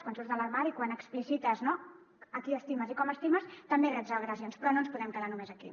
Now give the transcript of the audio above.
quan surts de l’armari quan explicites qui estimes i com estimes també reps agressions però no ens podem quedar només aquí